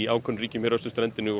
ákveðnum ríkjum hér á austurströndinni og